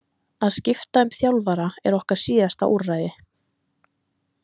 Að skipta um þjálfara er okkar síðasta úrræði.